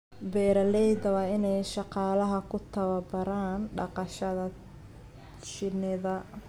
Beeralayda waa in ay shaqaalaha ku tababaraan dhaqashada shinnida.